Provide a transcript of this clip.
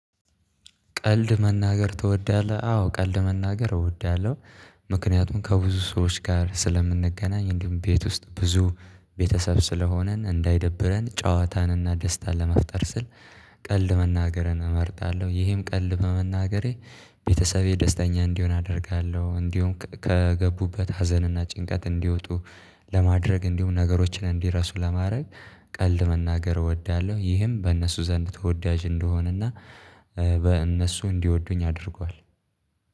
ቀልድ መናገር ትወዳለህ? አዎ ቀልድ መናገር እወዳለሁ። ምክንያቱም ከብዙ ሰዎች ጋር ስለምንገናኝ እንዲሁም ቤት ውስጥ ብዙ ቤተሰብ ስለሆነን እንዳይደብረን ጨዋታንና ደስታን ለመፍጠር ስል። ቀልድ መናገርን እመርጣለሁ ይሄም ቀልድ በመናገሬ ቤተሰቤ ደስተኛ እንዲሆን አደርጋለሁ እንዲሆም ከገቡበት ሀዘንና ጭንቀት እንዲወጡ ለማድረግ እንዲሆን ነገሮችን እንዲረሱ ለማድረግ ቀልድ መናገር እወዳለሁ። ይህም በእነሱ ዘንድ ተወዳጅ እንድሆንና በእነሱ እንዲወዱኝ አድርጓል።